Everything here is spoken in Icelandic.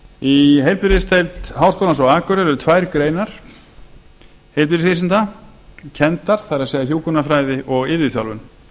í heilbrigðisdeild háskólans á akureyri eru tvær greinar heilbrigðisvísinda kenndar það er hjúkrunarfræði og iðjuþjálfun